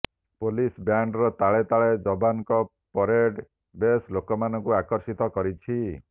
police ବ୍ୟାଣ୍ଡର ତାଳେ ତାଳେ ଯବାନଙ୍କ ପରେଡ୍ ବେଶ୍ ଲୋକମାନଙ୍କୁ ଆକର୍ଷିତ କରିଛି